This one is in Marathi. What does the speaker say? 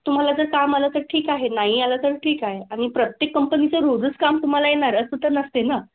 तुम्हाला जर काम आलं तर ठीक आहे नाही आलं तर ठीक आहे आणि प्रत्येक company चं रोजच काम तुम्हाला येणारच असं तर नसते ना.